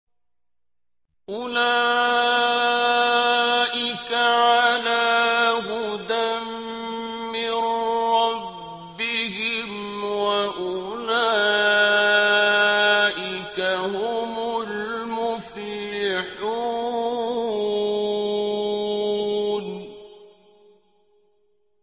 أُولَٰئِكَ عَلَىٰ هُدًى مِّن رَّبِّهِمْ ۖ وَأُولَٰئِكَ هُمُ الْمُفْلِحُونَ